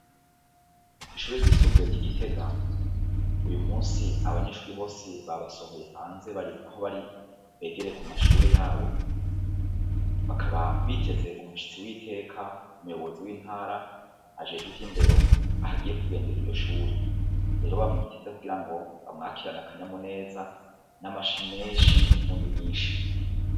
Kwishure ryisumbuye ry'igitega abanyeshure bose babasohoye hanze aho bariko bariga begere ku mashure yabo bakaba biteze umushitsi w'iteka umuyobozi w'intara ajejwe ivy'ndero ah'agiye kugendera iryo shure rero mwashizeko kugira ngo bamawakirane akanyamuneza n'amashi menshi n'impundu nyinshi.